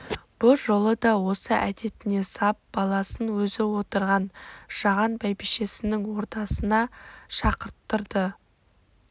бұ жолы да осы әдетіне сап баласын өзі отырған жаған бәйбішесінің ордасына шақырттырды